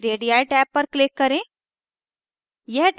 radii tab पर click करें